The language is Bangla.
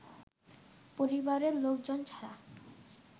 পরিবারের লোকজন ছাড়া